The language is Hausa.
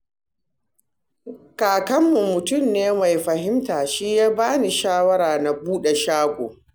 Kakanmu mutum ne mai fahimta, shi ya ba ni shawara na buɗe shago